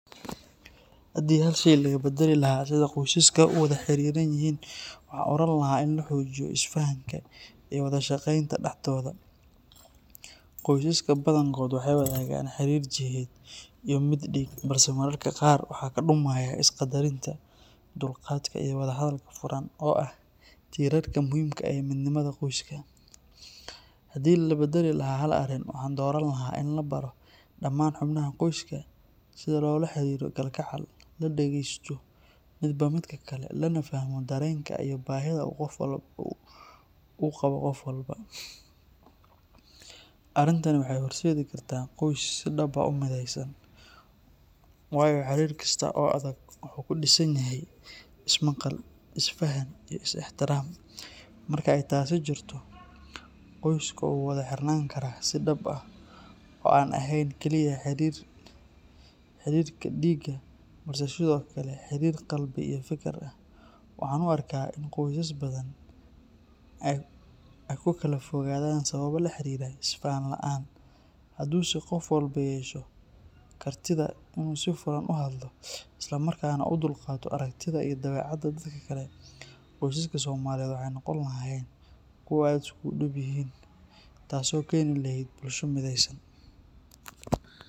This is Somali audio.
Haddii hal shay laga beddeli lahaa sida qoysaska u wada xiranyihiin, waxaan oran lahaa in la xoojiyo isfahanka iyo wadashaqeynta dhexdooda. Qoysaska badankood waxay wadaagaan xidhiidh jidheed iyo mid dhiig, balse mararka qaar waxaa ka dhumaya isqaddarinta, dulqaadka iyo wada hadalka furan oo ah tiirarka muhiimka u ah midnimada qoyska. Haddii la baddali lahaa hal arrin, waxaan dooran lahaa in la baro dhammaan xubnaha qoyska sida loola xiriiro kalgacal, la dhegeysto midba midka kale, lana fahmo dareenka iyo baahida uu qabo qof walba. Arrintani waxay horseedi kartaa qoys si dhab ah u mideysan, waayo xiriir kasta oo adag wuxuu ku dhisan yahay ismaqal, isfahan iyo is-ixtiraam. Marka ay taasi jirto, qoyska wuu wada xirnaan karaa si dhab ah oo aan ahayn keliya xidhiidhka dhiigga balse sidoo kale xidhiidh qalbi iyo fikir ah. Waxaan u arkaa in qoysas badan ay ku kala fogaadaan sababo la xiriira isfahan la’aan, hadduu se qof walba yeesho kartida inuu si furan u hadlo isla markaana u dulqaato aragtida iyo dabeecadda dadka kale, qoysaska Soomaaliyeed waxay noqon lahaayeen kuwo aad isugu dhowyihiin, taasoo keeni lahayd bulsho mideysan.